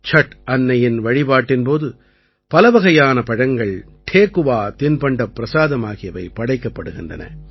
சட் அன்னையின் வழிபாட்டின் போது பலவகையான பழங்கள் டேகுவா தின்பண்டப் பிரசாதம் ஆகியவை படைக்கப்படுகின்றன